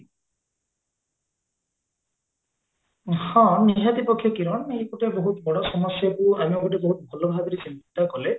ହଁ ନିହାତି ପକ୍ଷେ କିରଣ ଏଇ ଗୋଟେ ବହୁତ ବଡ ସମସ୍ୟାକୁ ଆମେ ଗୋଟେ ବହୁତ ଭଲ ଭାବରେ ଚିନ୍ତା କଲେ